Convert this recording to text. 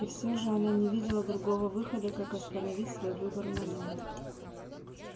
и всё же она не видела другого выхода как остановить свой выбор на нём